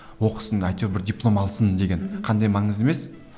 оқысын әйтеу бір диплом алсын деген қандай маңызды емес